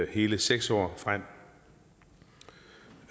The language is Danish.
hele seks år frem